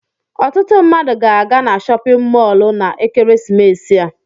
Ọtụtụ mmadụ ga-aga na chọpịn mọọlụ na ekeresimesi a.